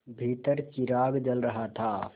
भीतर चिराग जल रहा था